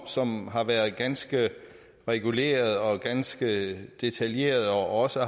som har været ganske reguleret og ganske detaljeret og også